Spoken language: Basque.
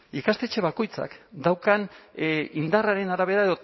ikastetxe bakoitzak daukan indarraren arabera